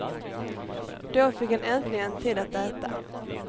Då fick han äntligen tid att äta.